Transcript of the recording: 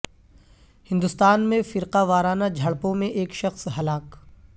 ہندوستان میں فرقہ وارانہ جھڑپوں میں ایک شخص ہلاک